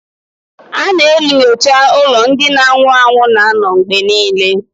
A na-enyocha ụlọ ndị na-anwụ anwụ na-anọ mgbe niile